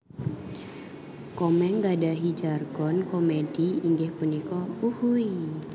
Komeng nggadhahi jargon komedi inggih punika Uhuiiii